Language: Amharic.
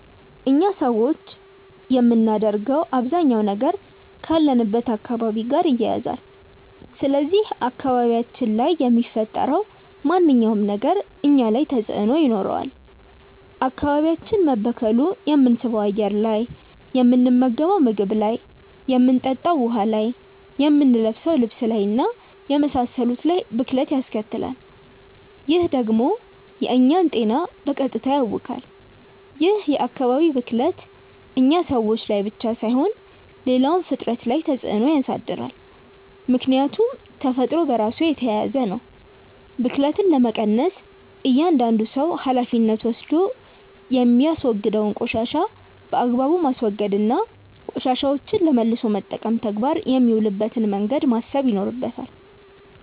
እኛ ሰዎች የምናደርገው አባዛኛው ነገር ካለንበት አካባቢ ጋር ይያያዛል። ስለዚህ አካባቢያችን ላይ የሚፈጠረው ማንኛውም ነገር እኛ ላይ ተጽእኖ ይኖረዋል። አካባቢያችን መበከሉ የምንስበው አየር ላይ፣ የምንመገንው ምግብ ላይ፣ የምንጠጣው ውሀ ላይ፣ የምንለብሰው ልብስ እና የመሳሰሉት ላይ ብክለት ያስከትላል። ይህ ደግሞ የእኛን ጤና በቀጥታ ያውካል። ይህ የአካባቢ ብክለት እኛ ሰዎች ላይ ብቻ ሳይሆን ሌላውም ፍጥረት ላይ ተፅእኖ ያሳድራል። ምክያቱም ተፈጥሮ በራሱ የተያያዘ ነው። ብክለትን ለመቀነስ እያዳንዱ ሰው ሀላፊነት ወስዶ የሚያወግደውን ቆሻሻ በአግባቡ ማስወገድ እና ቆሻሻዎችን ለመልሶ መጠቀም ተግባር የሚውልበትን መንገድ ማሰብ ይኖርበታል።